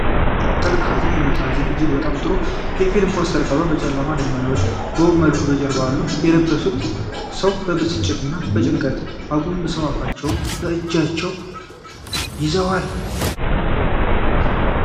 ጥልቅ ሀዘንን የሚያሳይ እጅግ በጣም ጥሩ የፊልም ፖስተር ቀርቧል። ጨለምተኛ ደመናዎች በውብ መልኩ በጀርባው አሉ። የለበሱት ሰው በብስጭትና በጭንቀት አጎንብሰው አፋቸውን በእጃቸው ይዘዋል።